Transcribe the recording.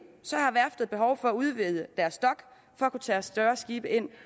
har værftet behov for at udvide deres dok for at kunne tage større skibe ind